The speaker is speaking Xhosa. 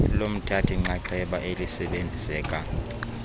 lomthathi nxxaxheba elisebenziseka